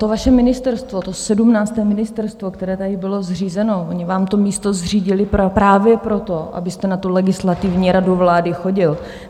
To vaše ministerstvo, to sedmnácté ministerstvo, které tady bylo zřízeno, oni vám to místo zřídili právě proto, abyste na tu Legislativní radu vlády chodil.